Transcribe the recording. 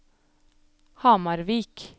Hamarvik